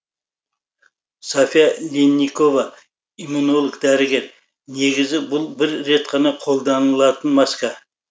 софья линникова иммунолог дәрігер негізі бұл бір рет қолданылатын маска